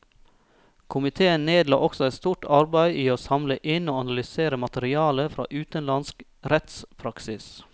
Komiteen nedla også et stort arbeid i å samle inn og analysere materiale fra utenlandsk rettspraksis.